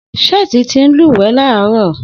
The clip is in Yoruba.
Seth ti n lúwẹ̀ẹ́ láàárọ̀